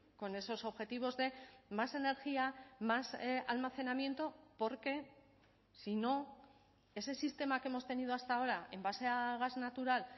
con esos objetivos de más energía más almacenamiento porque si no ese sistema que hemos tenido hasta ahora en base a gas natural